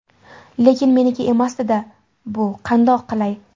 Lekin meniki emasdi-da bu, qandoq qilay?!